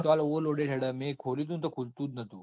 Overloaded હેડે છે. મેં ખોલ્યું ટુ ને ખુલતું જ નાતુ.